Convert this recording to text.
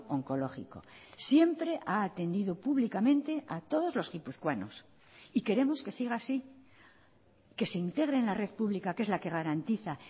oncológico siempre ha atendido públicamente a todos los guipuzcoanos y queremos que siga así que se integre en la red pública que es la que garantiza